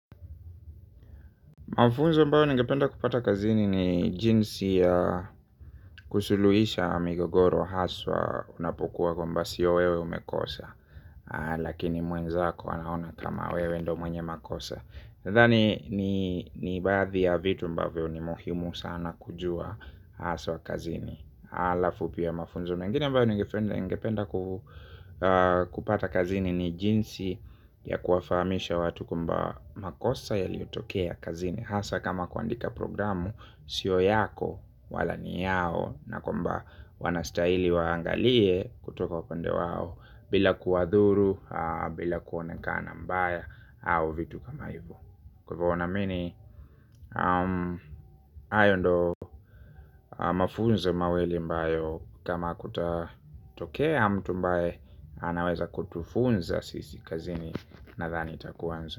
Mafunzo ambao nengependa kupata kazini ni jinsi ya kusuluisha migogoro haswa unapokuwa kwamba sio wewe umekosa. Lakini mwenzako anaona kama wewe ndio mwenye makosa. Dhani ni baadhi ya vitu ambavyo ni muhimu sana kujua haswa kazini. Alafu pia mafunzo mengine ambao ninengependa kupata kazini ni jinsi ya kuwafamisha watu kwamba makosa yaliyotokea kazini. Hasa kama kuandika programu, sio yako, wala ni yao na kwamba wanastaili waangalie kutoka upande wao bila kuwadhuru, bila kuonekana mbaya, au vitu kama hivo. Kwa wana amini, hayo ndio mafunzo mawili ambayo kama kutatokea mtu ambae, anaweza kutufunza sisi kazini nadhani takuwanza.